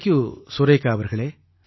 thank you Surekha அவர்களே